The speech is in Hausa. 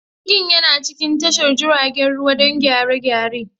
Jirgin yana cikin tashar jiragen ruwa don gyare-gyare.